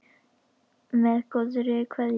Með góðri kveðju